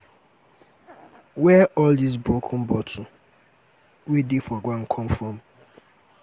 where all dis broken bottle wey dey for ground come from?